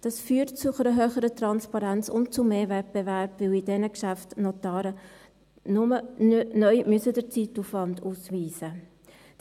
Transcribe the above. Dies führt zu einer höheren Transparenz und zu mehr Wettbewerb, weil die Notare bei diesen Geschäften neu nur den Zeitaufwand ausweisen müssen.